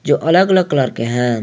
जो अलग अलग कलर के हैं।